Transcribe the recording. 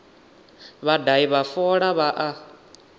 vhadahi vha fola vha a